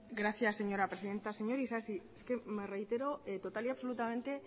gracias señora presidenta señor isasi es que me reitero total y absolutamente